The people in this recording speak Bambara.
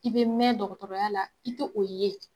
I bɛ mɛn dɔgɔtɔrɔya la i tɛ o ye.